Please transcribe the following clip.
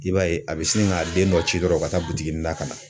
I b'a ye a bɛ sin k'a den dɔ ci dɔrɔn o ka taa butiki la ka na.